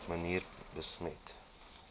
manier besmet